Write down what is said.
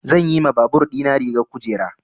Zan yi ma babur ɗina rigar kujera.